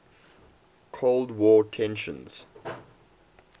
cold war tensions